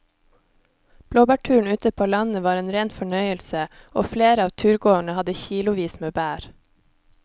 Blåbærturen ute på landet var en rein fornøyelse og flere av turgåerene hadde kilosvis med bær.